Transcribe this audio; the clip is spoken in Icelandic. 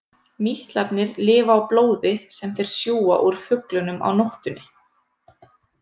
Mítlarnir lifa á blóði sem þeir sjúga úr fuglunum á nóttunni.